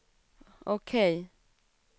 OK